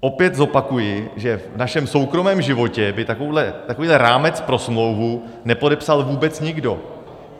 Opět zopakuji, že v našem soukromém životě by takovýhle rámec pro smlouvu nepodepsal vůbec nikdo.